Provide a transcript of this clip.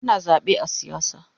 Ana zabe a siyasa